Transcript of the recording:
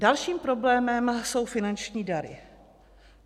Dalším problémem jsou finanční dary.